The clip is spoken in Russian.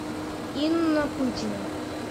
инна пытина